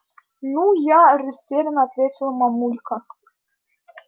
ну я растеряно ответила мамулька